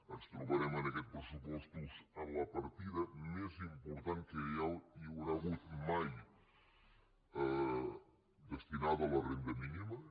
ens trobarem en aquests pressupostos amb la partida més important que hi haurà hagut mai destinada a la renda mínima